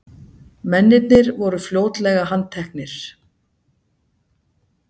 Mennirnir voru fljótlega handteknir